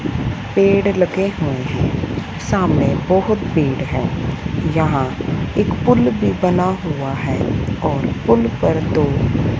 पेड़ लगे हुए हैं सामने बहोत पेड़ है यहा एक पूल भी बना हुआ है और पूल पर तो--